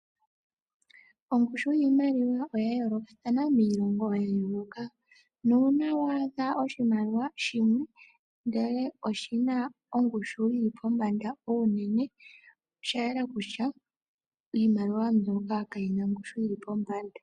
Ongushu yiimaliwa oya yoolokathana miilongo ya yooloka. Nuuna waadha oshimaliwa shimwe ndele oshi na ongushu yi li pombanda unene oshayela kutya iimaliwa mbyono kayi na ongushu yi li pombanda.